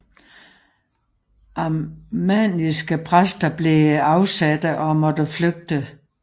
Arminianske præster blev afsatte og måtte flygte